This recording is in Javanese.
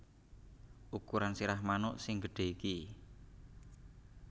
Ukuran sirah manuk sing gedhe iki